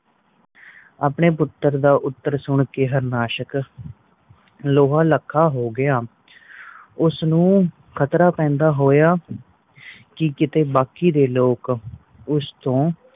ਆਪਣੇ ਪੁੱਤਰ ਦਾ ਉੱਤਰ ਸੁਨ ਕ ਹਾਰਨਾਸ਼ਕ ਲੋਹਾ ਲੱਖਾਂ ਹੋ ਗਯਾ ਉਸ ਨੂੰ ਖ਼ਤਰਾ ਪੈਂਦਾ ਹੋਯਾ ਕਿ ਕੀਤੇ ਬਾਕੀ ਦੇ ਲੋਕ ਉਸ ਤੋਂ